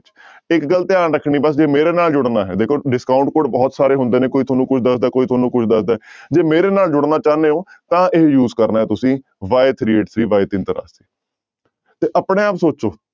ਇੱਕ ਗੱਲ ਧਿਆਨ ਰੱਖਣੀ ਬਸ ਜੇ ਮੇਰੇ ਨਾਲ ਜੁੜਨਾ ਹੈ ਦੇਖੋ discount code ਬਹੁਤ ਸਾਰੇ ਹੁੰਦੇ ਨੇ ਕੋਈ ਤੁਹਾਨੂੰ ਕੋਈ ਦੱਸਦਾ ਕੋਈ ਤੁਹਾਨੂੰ ਕੋਈ ਦੱਸਦਾ ਹੈ ਜੇ ਮੇਰੇ ਨਾਲ ਜੁੜਨਾ ਚਾਹੁੰਦੇ ਹੋ ਤਾਂ ਇਹ use ਕਰਨਾ ਹੈ ਤੁਸੀਂ y three eight three ਤੇ ਆਪਣੇ ਆਪ ਸੋਚੋ।